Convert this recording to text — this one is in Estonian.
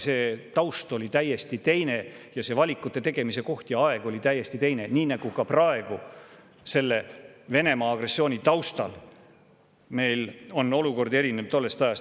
See taust oli täiesti teine ja see valikute tegemise koht ja aeg olid täiesti teised, praegune aeg selle Venemaa agressiooni taustal erineb tollest ajast.